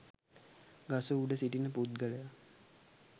ගස උඩ සිටින පුද්ගලයා